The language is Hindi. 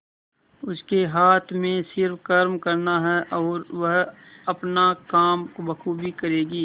उसके हाथ में सिर्फ कर्म करना है और वह अपना काम बखूबी करेगी